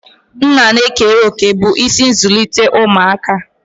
Nna na-ekere òkè bụ́ isi n'ịzụlite ụmụaka